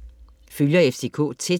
Følger FCK tæt